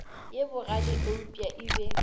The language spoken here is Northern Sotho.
ye bogale eupša e be